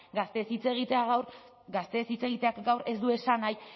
gazteez hitz egiteak gaur ez du esan nahi